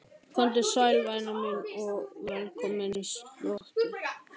Komdu sæl, væna mín, og velkomin í slotið.